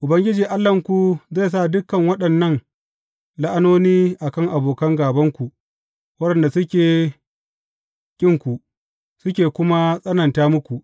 Ubangiji Allahnku zai sa dukan waɗannan la’anoni a kan abokan gābanku waɗanda suke ƙinku, suke kuma tsananta muku.